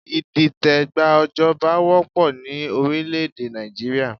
Ìdìtẹ̀gbà joba wópọ̀ ni orílẹ̀ èdè Nàìjíríà